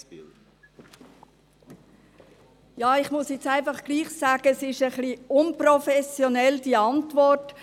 Jetzt muss ich einfach doch sagen, dass diese Antwort ein wenig unprofessionell ist.